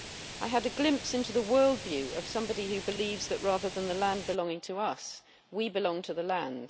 I had a glimpse into the world view of somebody who believes that, rather than the land belonging to us, we belong to the land.